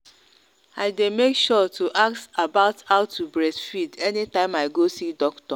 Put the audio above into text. i day make sure to ask about how to breastfeed anytime i go see doctor.